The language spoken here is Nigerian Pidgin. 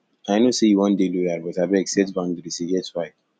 i know sey you wan dey loyal but abeg set boudaries e get why